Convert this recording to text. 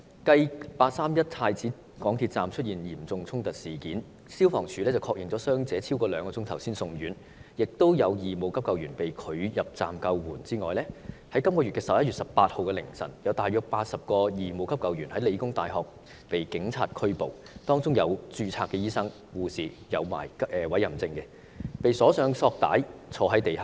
繼"八三一"太子港鐵站的嚴重衝突事件中，消防處在確認傷者超過兩小時後才送院，並有義務急救員被拒入站救援後，在11月18日的凌晨，有大約80名義務急救員在香港理工大學被警方拘捕，當中包括持有委任證的註冊醫生及護士，他們均被綁上索帶坐在地上。